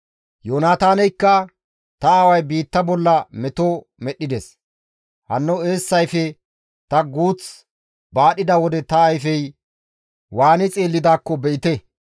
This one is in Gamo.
Yoonataaneykka, «Ta aaway biitta bolla meto medhdhides; hanno eessayfe ta guuth baadhida wode ta ayfey waani xeellidaakko be7ite!